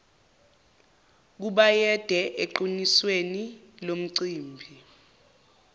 kubayede eqinisweni lomcimbi